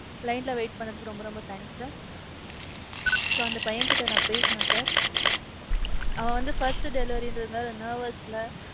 line ல wait துக்கு ரொம்ப ரொம்ப thanks sir. So அந்த பையன்கிட்ட நான் பேசுனேன் sir. அவன் வந்து முதல் first delivery ங்கிறதுனாலே nervous ல